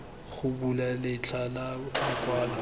go bula letlha la lokwalo